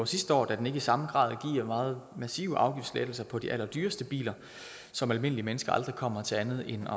sidste år da den ikke i samme grad giver meget massive afgiftslettelser på de allerdyreste biler som almindelige mennesker aldrig kommer til andet end